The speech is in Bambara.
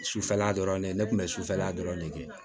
Sufɛla dɔrɔn ne tun bɛ sufɛla dɔrɔn ne kɛ